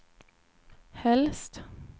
helst